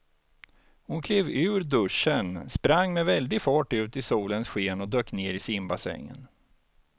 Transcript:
Hon klev ur duschen, sprang med väldig fart ut i solens sken och dök ner i simbassängen.